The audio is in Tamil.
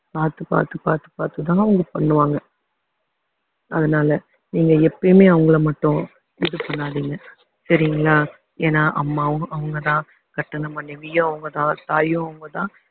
பாத்து பாத்து பாத்து பாத்துதான் அவங்க பண்ணுவாங்க அதனால நீங்க எப்பயுமே அவங்களை மட்டும் இது பண்ணாதீங்க சரிங்களா ஏன்னா அம்மாவும் அவங்கதான் கட்டுன மனைவியும் அவங்கதான் தாயும் அவங்கதான்